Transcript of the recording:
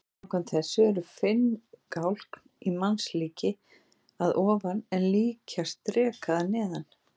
Samkvæmt þessu eru finngálkn í mannslíki að ofan en líkjast dreka að neðan.